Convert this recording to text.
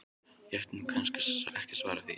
Ég ætti nú kannski ekki að svara því.